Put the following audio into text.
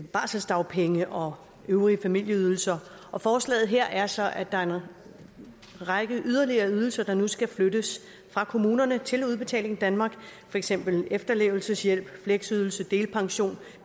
barselsdagpenge og øvrige familieydelser og forslaget her er så at der er en række yderligere ydelser der nu skal flyttes fra kommunerne til udbetaling danmark for eksempel efterlevelseshjælp fleksydelse delpension